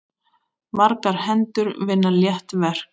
Margar hendur vinna létt verk!